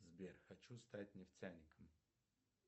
сбер хочу стать нефтяником